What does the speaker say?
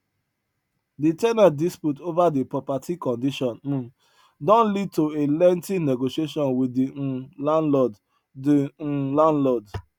de ten ant dispute over de property condition um don lead to a lengthy negotiation wit de um landlord de um landlord